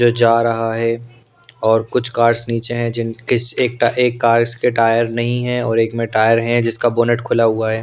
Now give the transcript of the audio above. जो जा रहा हैं और कुछ कार्स नीचे हैं जिन किस एक एक कार्स के टायर नहीं हैं और एक में टायर हैं जिसका बोनेट खुला हुआ हैं।